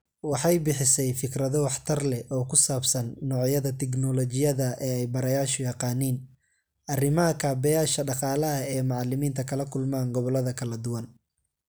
Waxay bixisay fikrado waxtar leh oo ku saabsan noocyada tignoolajiyada ee ay barayaashu yaqaaniin, arrimaha kaabeyaasha dhaqaalaha ee macallimiinta kala kulmaan gobollada kala duwan.